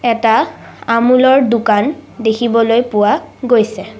এটা আমুল ৰ দোকান দেখিবলৈ পোৱা গৈছে।